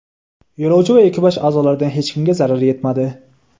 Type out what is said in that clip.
Yo‘lovchi va ekipaj a’zolaridan hech kimga zarar yetmadi.